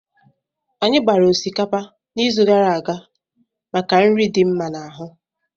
Anyị gbara osikapa n'izu gara aga maka nri dị mma n'ahu.